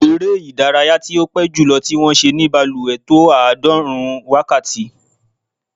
Eré ìdárayá tí ó pé jùlọ tí wọ́n ṣe ní balùwẹ̀ tó àádọ́rùn-ún wákàtí.